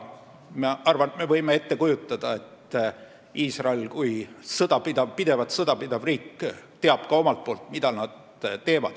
Ma arvan, et me võime ette kujutada, et Iisrael kui pidevalt sõda pidav riik teab omalt poolt, mida ta teeb.